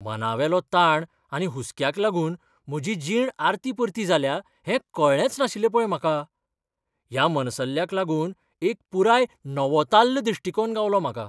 मनावेलो ताण आनी हुसक्याक लागून म्हजी जीण आरतीपरती जाल्या हें कळ्ळेंच नाशिल्लें पळय म्हाका. ह्या मनसल्ल्याक लागून एक पुराय नवोताल्ल दिश्टिकोण गावलो म्हाका!